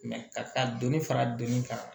ka dɔni fara dɔni kan